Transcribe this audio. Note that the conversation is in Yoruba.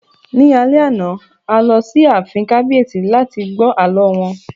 Ní alẹ́ àná, a lọ sí ààfin kábíyèsí láti gbọ́ àlọ́ wọn